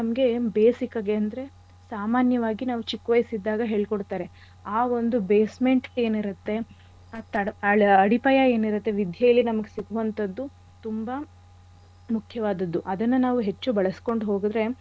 ನಮ್ಗೆ basic ಆಗೇ ಅಂದ್ರೆ ಸಾಮಾನ್ಯವಾಗಿ ನಾವ್ ಚಿಕ್ ವಯಸ್ ಇದ್ದಾಗ ಹೇಳ್ಕೊಡ್ತಾರೆ ಆ ಒಂದು basement ಏನಿರತ್ತೆ ಆ ತಡ ಆ ಅಡಿಪಾಯ ಏನಿರತ್ತೆ ವಿದ್ಯೆಲಿ ನಮಿಗೆ ಸಿಗುವಂಥದ್ದುತುಂಬಾ ಮುಖ್ಯವಾದದ್ದು. ಅದನ್ನ ನಾವು ಹೆಚ್ಚು ಬಳ್ಸ್ಕೊಂಡ್ ಹೋದ್ರೆ,